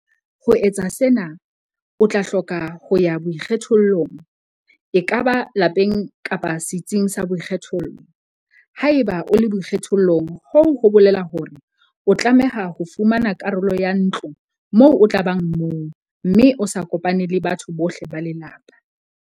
Ho etsa sena, o tla hloka ho ya boikgethollong - ekaba lapeng kapa setsing sa boikgethollo. Haeba o le boikgethollong hoo ho bolela hore o tlameha ho fumana karolo ya ntlo moo o tla bang mong mme o sa kopane le batho bohle ba lelapa.